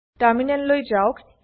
টার্মিনেললৈ যাওক